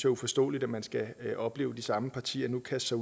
uforståeligt at man skal opleve de samme partier nu kaste